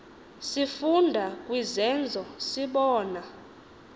sifunda kwizenzo sibona